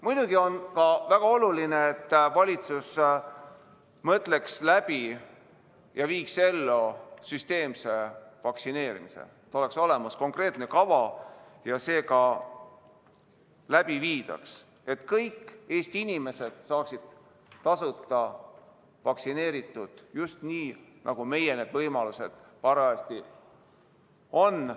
Muidugi on väga oluline seegi, et valitsus mõtleks läbi ja viiks ellu süsteemse vaktsineerimise – et oleks olemas konkreetne kava ja see ka läbi viidaks ning et kõik Eesti inimesed saaksid tasuta vaktsineeritud just nii, nagu meie võimalused parajasti on.